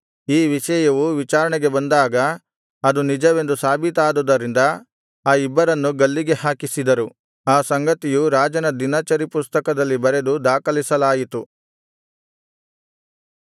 ಈ ವಿಷಯವು ವಿಚಾರಣೆಗೆ ಬಂದಾಗ ಅದು ನಿಜವೆಂದು ಸಾಬೀತಾದುದರಿಂದ ಆ ಇಬ್ಬರನ್ನೂ ಗಲ್ಲಿಗೆ ಹಾಕಿಸಿದರು ಆ ಸಂಗತಿಯು ರಾಜನ ದಿನಚರಿಪುಸ್ತಕದಲ್ಲಿ ಬರೆದು ದಾಖಲಿಸಲಾಯಿತು